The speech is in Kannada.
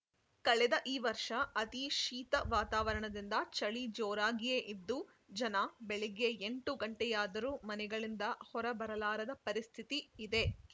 ಕಳೆದ ಈ ವರ್ಷ ಅತೀ ಶೀತ ವಾತಾರವಣದಿಂದ ಚಳಿ ಜೋರಾಗಿಯೇ ಇದ್ದು ಜನ ಬೆಳಗ್ಗೆ ಎಂಟು ಗಂಟೆಯಾದರೂ ಮನೆಗಳಿಂದ ಹೊರಬರಲಾರದ ಪರಿಸ್ಥಿತಿ ಇದೆ